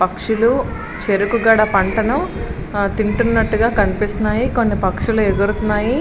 పక్షులు చేరుకు గడ పంటను ఆ తింటున్నట్టుగా కనిపిస్తున్నాయి కొన్ని పక్షులు ఎగురుతున్నాయి.